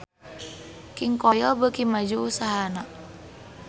King Koil beuki maju usahana